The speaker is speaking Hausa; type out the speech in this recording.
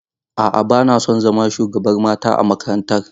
A'a, bana son zama shugabar mata a makarantar.